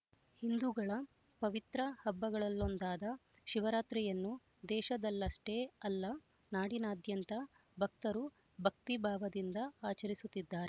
ಹಿಂದೂಗಳ ಪವಿತ್ರ ಹಬ್ಬಗಳಲ್ಲೊಂದಾದ ಶಿವರಾತ್ರಿಯನ್ನು ದೇಶದಲ್ಲಷ್ಟೇ ಅಲ್ಲ ನಾಡಿನಾದ್ಯಂತ ಭಕ್ತರು ಭಕ್ತಿಭಾವದಿಂದ ಆಚರಿಸುತ್ತಿದ್ದಾರೆ